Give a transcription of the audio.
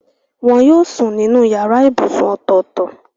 Wọn yóò sùn ní yàrá ibùsùn ọ̀tọ̀ọ̀tọ̀.